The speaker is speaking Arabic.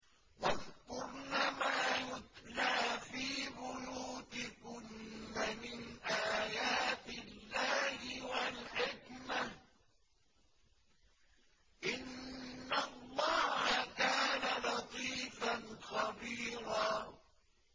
وَاذْكُرْنَ مَا يُتْلَىٰ فِي بُيُوتِكُنَّ مِنْ آيَاتِ اللَّهِ وَالْحِكْمَةِ ۚ إِنَّ اللَّهَ كَانَ لَطِيفًا خَبِيرًا